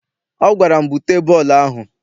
Ọ gwara m, bute bọọlụ ahụ!